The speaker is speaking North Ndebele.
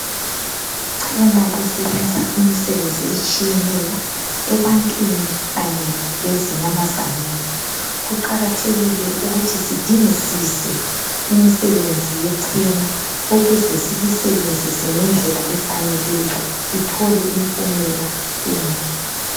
Ichena lisebenza imisebenzi etshiyeneyo ebantwini kanye lezinyamazaneni. Kuqakathekile ukuthi sidingisise imisebenzi yechena ukuze silisebenzise ngendlela efaneleyo sithole impumela enhle.